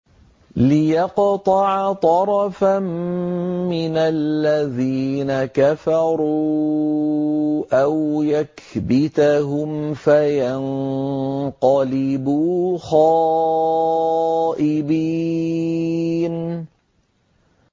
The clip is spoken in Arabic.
لِيَقْطَعَ طَرَفًا مِّنَ الَّذِينَ كَفَرُوا أَوْ يَكْبِتَهُمْ فَيَنقَلِبُوا خَائِبِينَ